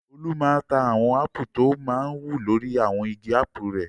Olú máa ń ta àwọn ápù tọ máa ń wù lórí àwọn igi ápù rẹ̀.